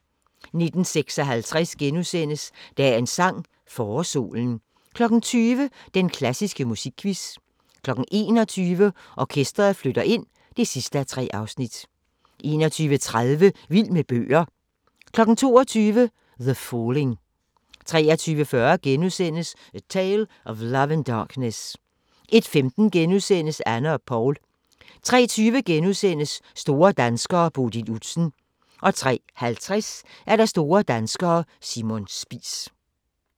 19:56: Dagens sang: Forårssolen * 20:00: Den klassiske musikquiz 21:00: Orkestret flytter ind (3:3) 21:30: Vild med bøger 22:00: The Falling 23:40: A Tale of Love and Darkness * 01:15: Anne og Poul * 03:20: Store danskere: Bodil Udsen * 03:50: Store danskere: Simon Spies